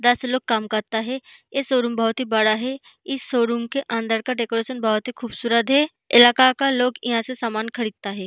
दस लोग काम करता है ये शोरूम बहुत ही बड़ा है इस शोरूम के अंदर का डेकोरेशन बहुत ही खूबसूरत है इलाका का लोग यहां से सामान खरीदता है।